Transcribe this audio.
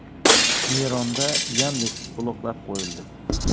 Eronda “Yandeks” bloklab qo‘yildi.